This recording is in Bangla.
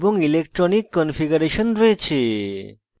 electronic কনফিগারেশন রয়েছে